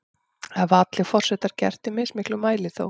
Þetta hafa allir forsetar gert, í mismiklum mæli þó.